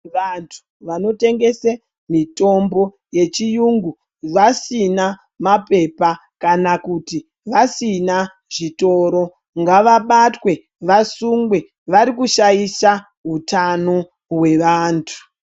Vantu vanotengese mitombo yechiyungu vasina mapepa kana kuti vasina zvitoro ngavabatwe vasungwe varikushaisha hutano hwavantu.